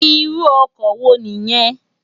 Irù òkò wó ni yèn?